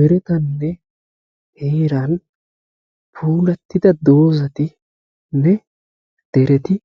Meretanne heeran puulatidda doozatinne dereti